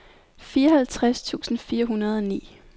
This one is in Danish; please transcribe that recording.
fireoghalvtreds tusind fire hundrede og ni